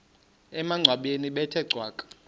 emangcwabeni bethe cwaka